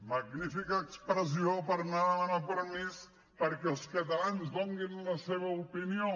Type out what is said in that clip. magnífica expressió per anar a demanar permís perquè els catalans donin la seva opinió